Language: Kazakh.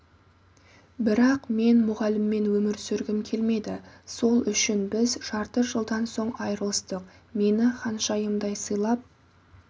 бірақ мен мұғаліммен өмір сүргім келмеді сол үшін біз жарты жылдан соң айырылыстық мені ханшайымдай сыйлап